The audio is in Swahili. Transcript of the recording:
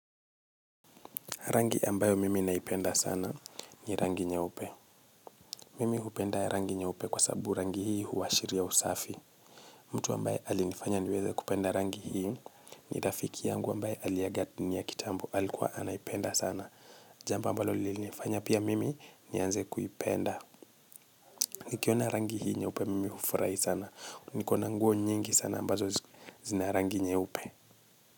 Rangi ambayo mimi naipenda sana ni rangi nyeupe. Mimi hupenda rangi nyeupe kwa sababu rangi hii huashiria usafi. Mtu ambaye alinifanya niweze kupenda rangi hii ni rafiki yangu ambayo aliaga dunia kitambo. Alikuwa anaipenda sana jambo aambalo lilinifanye mm nianze kuipenda. Nikiona rangi hii nye upe mimi hufurai sana. Nikona nguo nyingi sana ambazo zina rangi nyeupe.